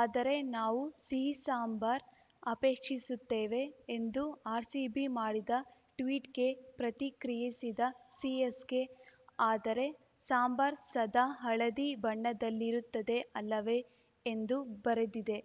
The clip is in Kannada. ಆದರೆ ನಾವು ಸಿಹಿ ಸಾಂಬಾರ್‌ ಅಪೇಕ್ಷಿಸುತ್ತೇವೆ ಎಂದು ಆರ್‌ಸಿಬಿ ಮಾಡಿದ ಟ್ವೀಟ್‌ಗೆ ಪ್ರತಿಕ್ರಿಯಿಸಿದ ಸಿಎಸ್‌ಕೆ ಆದರೆ ಸಾಂಬಾರ್‌ ಸದಾ ಹಳದಿ ಬಣ್ಣದಲ್ಲಿರುತ್ತದೆ ಅಲ್ಲವೇ ಎಂದು ಬರೆದಿದೆ